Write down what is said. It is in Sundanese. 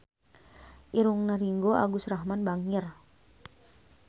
Irungna Ringgo Agus Rahman bangir